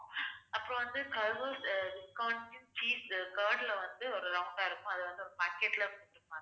அப்புறம் வந்து cheese curd ல வந்து ஒரு round ஆ இருக்கும். அது வந்து ஒரு packet ல குடுப்பாங்க